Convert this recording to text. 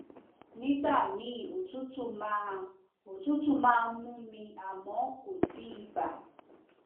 nígbà míì òtútù máa òtútù máa ń mú mi àmọ kò sí ibà